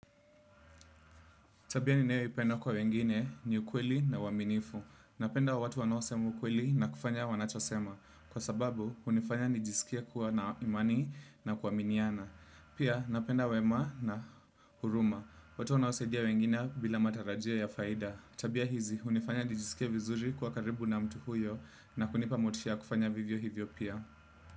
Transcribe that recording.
Tabia ninayoipenda kwa wengine ni ukweli na uwaminifu. Napenda watu wanaosema ukweli na kufanya wanachosema. Kwa sababu, unifanya nijisikie kuwa na imani na kuwaminiana. Pia, napenda wema na huruma. Watu wanaosaidia wengine bila matarajio ya faida. Tabia hizi, unifanya nijisikie vizuri kuwa karibu na mtu huyo na kunipa motisha kufanya vivyo hivyo pia.